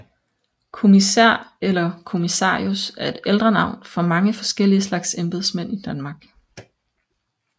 Kommissær eller kommissarius er et ældre navn for mange forskellige slags embedsmænd i Danmark